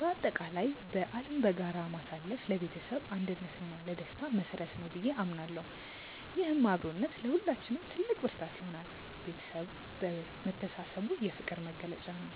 በአጠቃላይ በዓልን በጋራ ማሳለፍ ለቤተሰብ አንድነት እና ለደስታ መሰረት ነው ብዬ አምናለሁ። ይህም አብሮነት ለሁላችንም ትልቅ ብርታት ይሆናል። ቤተሰብ መሰባሰቡ የፍቅር መግለጫ ነው።